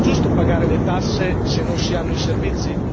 è giusto pagare le tasse se non si hanno i servizi?